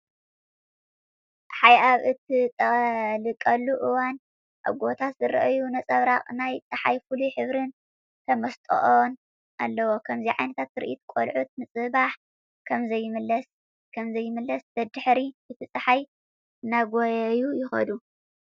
ፀሓይ ኣብ እትጠልቐሉ እዋን ኣብ ጎቦታት ዝረኣይ ነፀብራቅ ናይ ፀሓይ ፍሉይ ሕብርን ተመስጥኦን ኣለዎ። ከምዚ ዓይነት ትርኢት ቆልዑት ንፅባሕ ከምዘይምለስ ደድሕሪ እቲ ፀሓይ እናጎየዩ ይኸዱ።